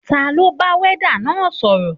Taló ń bá wọ́ọ́dà náà sọ̀rọ̀?